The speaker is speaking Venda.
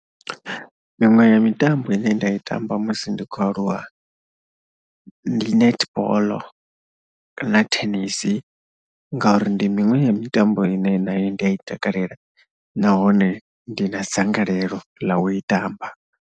Miṅwe ya mitambo ine nda i tamba musi ndi khou aluwa ndi netball na tennis ngauri ndi miṅwe ya mitambo ine nayo ndi ya i takalela nahone ndi na dzangalelo ḽa u i tamba.